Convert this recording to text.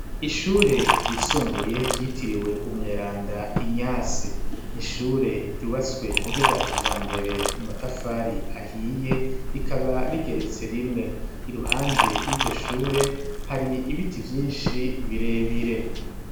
Ishure ryisumbuye ryitiriwe umweranda Inyasi n'ishure ryubatswe mu buryo bwa kijambere mu matafari ahiye rikaba rigeretse rimwe iruhande y'iryo shure hari ibiti vyishi birebire.